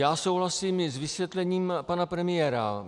Já souhlasím i s vysvětlením pana premiéra.